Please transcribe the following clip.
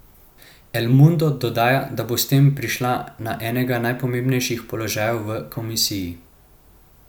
El Mundo dodaja, da bo s tem prišla na enega najpomembnejših položajev v komisiji.